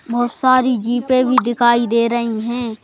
बहुत सारी जीपें भी दिखाई दे रही हैं।